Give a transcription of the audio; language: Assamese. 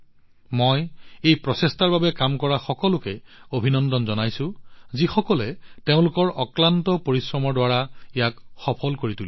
মই এই প্ৰচেষ্টাৰ বাবে কাম কৰা সকলোকে অভিনন্দন জনাইছো যিসকলে তেওঁলোকৰ অক্লান্ত কঠোৰ পৰিশ্ৰমৰ দ্বাৰা ইয়াক সফল কৰি তুলিছে